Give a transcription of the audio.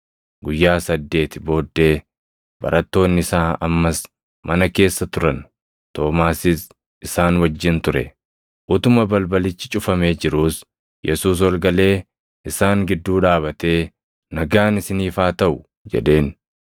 Guyyaa saddeeti booddee barattoonni isaa ammas mana keessa turan; Toomaasis isaan wajjin ture. Utuma balbalichi cufamee jiruus Yesuus ol galee isaan gidduu dhaabatee, “Nagaan isiniif haa taʼu!” jedheen.